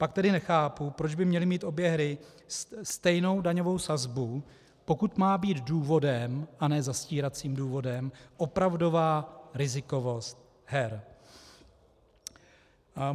Pak tedy nechápu, proč by měly mít obě hry stejnou daňovou sazbu, pokud má být důvodem, a ne zastíracím důvodem opravdová rizikovost her.